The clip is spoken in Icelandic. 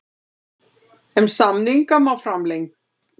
En samninga má framlengja.